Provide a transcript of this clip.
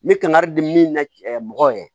N bɛ kangari di min na mɔgɔw ye